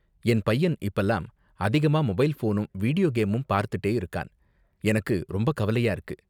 என் பையன் இப்பலாம் அதிகமா மொபைல் ஃபோனும் வீடியோ கேமும் பார்த்துட்டே இருக்கான் , எனக்கு ரொம்ப கவலையா இருக்கு.